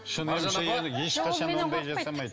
шын емші енді ешқашан ондай жасамайды